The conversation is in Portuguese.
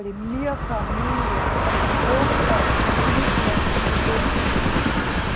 minha família foi contra o Hitler o tempo todo.